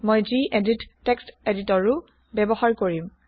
মই গেদিত টেক্সট Editorৰো ব্যৱহাৰ কৰিম